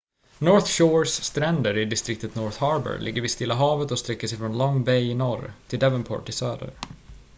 north shores stränder i distriktet north harbour ligger vid stilla havet och sträcker sig från long bay i norr till devonport i söder